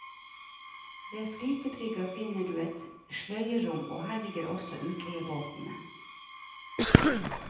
Ved flytebrygga finner du et nytt sløyerom og her ligger også utleiebåtene.